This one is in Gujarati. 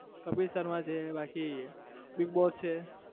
કપિલ શર્મા છે, બાકી bigboss છે